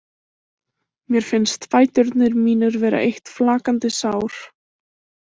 Mér finnst fæturnir mínir vera eitt flakandi sár.